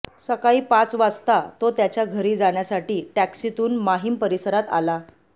सकाळी पाच वाजता तो त्याच्या घरी जाण्यासाठी टॅक्सीतून माहीम परिसरात आला